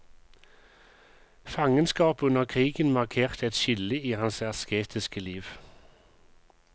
Fangenskapet under krigen markerte et skille i hans asketiske liv.